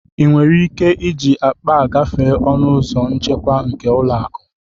Ị nwere ike iji akpa a gafere ọnụ ụzọ nchekwa nke ụlọ akụ?